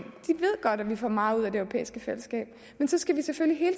godt at vi får meget ud af det europæiske fællesskab men så skal vi selvfølgelig